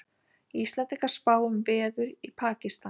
Íslendingar spá um veður í Pakistan